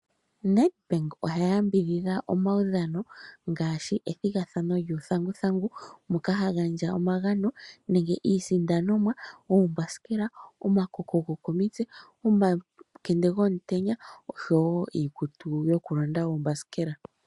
Nedbank oha yambidhidha omawudhano ngaashi ethigathano lyuuthanguthangu moka ha gandja omagano nenge iisindanomwa, oombasikela, omakoko gokomitse, omakende komutenya osho wo iikutu yokulonda oombasikela.